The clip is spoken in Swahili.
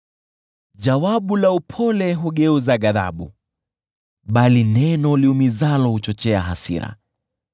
Jawabu la upole hugeuza ghadhabu, bali neno liumizalo huchochea hasira.